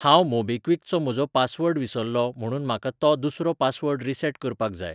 हांव मोबीक्विक चो म्हजो पासवर्ड विसरलों म्हणून म्हाका तो दुसरो पासवर्ड रिसेट करपाक जाय.